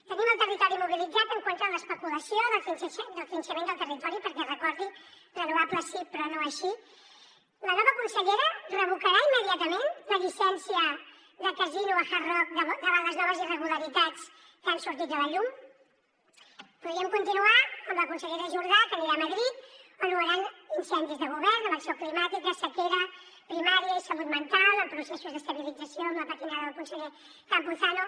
tenim el territori mobilitzat en contra de l’especulació del trinxament del territori perquè recordi renovables sí però no així la nova consellera revocarà immediatament la llicència de casino a hard rock davant les noves irregularitats que han sortit a la llum podríem continuar amb la consellera jordà que anirà a madrid on no hi hauran incendis de govern en acció climàtica sequera primària i salut mental amb processos d’estabilització amb la patinada del conseller campuzano